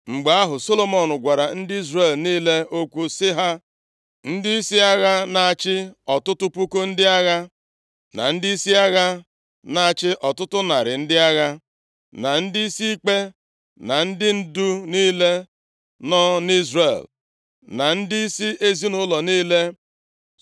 Mgbe ahụ, Solomọn gwara ndị Izrel niile okwu, ya bụ, ndịisi agha na-achị ọtụtụ puku ndị agha, na ndịisi agha na-achị ọtụtụ narị ndị agha, na ndị ikpe, na ndị ndu niile nọ nʼIzrel, na ndịisi ezinaụlọ niile.